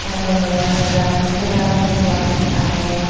dagedi grahak seba kendro age.